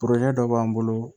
dɔ b'an bolo